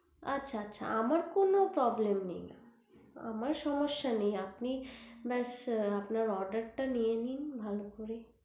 আচ্ছা আচ্ছা আমার কোনো Problem নেই আমার সমস্যা নেই আপনি বাস আপনার oder টা নিয়ে নিন ভালো করে